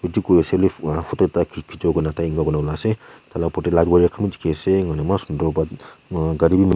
etu koi se lift lah photo tai khichibo kane tai enoka ulai ase tah lah upar teh tu dikhi ase ngona eman sundar but aa gari--